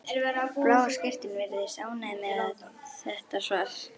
Bláa skyrtan virðist ánægð með þetta svar.